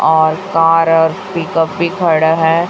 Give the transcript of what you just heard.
और कार और pickup भी खड़ है।